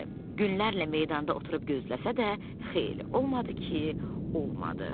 Günlərlə meydanda oturub gözləsə də xeyri olmadı ki, olmadı.